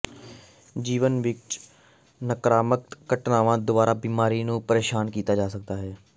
ਜੀਵਨ ਵਿੱਚ ਨਕਾਰਾਤਮਕ ਘਟਨਾਵਾਂ ਦੁਆਰਾ ਬਿਮਾਰੀ ਨੂੰ ਪ੍ਰੇਸ਼ਾਨ ਕੀਤਾ ਜਾ ਸਕਦਾ ਹੈ